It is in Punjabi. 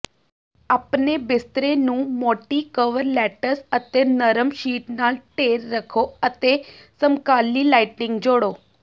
ਆਪਣੇ ਬਿਸਤਰੇ ਨੂੰ ਮੋਟੀ ਕਵਰਲੈਟਸ ਅਤੇ ਨਰਮ ਸ਼ੀਟ ਨਾਲ ਢੇਰ ਰੱਖੋ ਅਤੇ ਸਮਕਾਲੀ ਲਾਈਟਿੰਗ ਜੋੜੋ